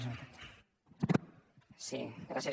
sí gràcies